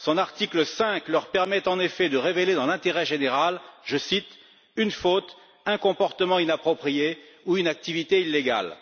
Son article 5 leur permet, en effet, de révéler dans l'intérêt général je cite une faute, un comportement inapproprié ou une activité illégale.